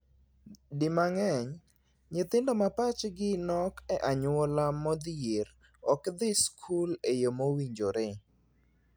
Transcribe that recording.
Di mang'eny, nyithindo ma pachgi nok e anyuola modhier ok dhii skul e yoo mowinjore.